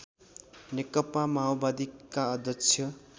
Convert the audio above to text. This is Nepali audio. नेकपा माओवादीका अध्यक्ष